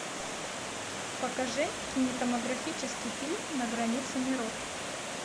покажи кинематографический фильм на границе миров